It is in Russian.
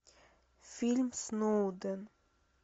фильм сноуден